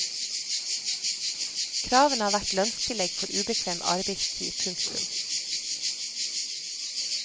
Kravene har vært lønnstillegg for ubekvem arbeidstid. punktum